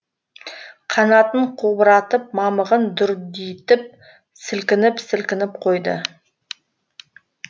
қанатын қобыратып мамығын дүрдитіп сілкініп сілкініп қойды